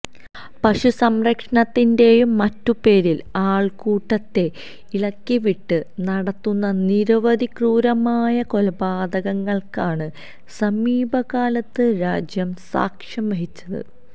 പശു സംരക്ഷണത്തിന്റെയും മറ്റും പേരില് ആള്ക്കൂട്ടത്തെ ഇളക്കിവിട്ട് നടത്തുന്ന നിരവധി ക്രൂരമായ കൊലപാതകങ്ങള്ക്കാണ് സമീപകാലത്ത് രാജ്യം സാക്ഷ്യം വഹിച്ചത്